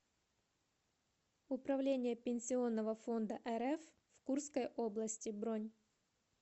управление пенсионного фонда рф в курской области бронь